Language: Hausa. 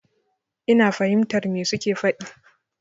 Ina fahimtar me su ke faɗi.